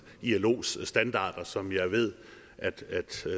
ilos standarder som jeg ved